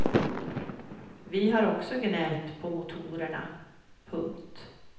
Vi har också gnällt på motorerna. punkt